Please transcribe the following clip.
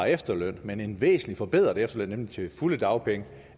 efterløn men en væsentlig forbedret efterløn nemlig til fulde dagpenge